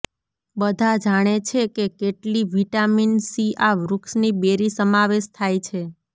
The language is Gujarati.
બધા જાણે છે કેટલી વિટામિન સી આ વૃક્ષની બેરી સમાવેશ થાય છે